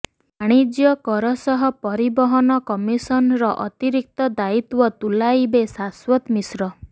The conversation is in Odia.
ବାଣିଜ୍ୟ କର ସହ ପରିବହନ କମିଶନର ଅତିରିକ୍ତ ଦାୟିତ୍ୱ ତୁଲାଇବେ ଶାଶ୍ୱତ ମିଶ୍ର